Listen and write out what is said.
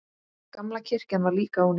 Gamla kirkjan var líka ónýt.